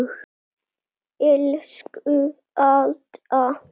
Elsku Alda.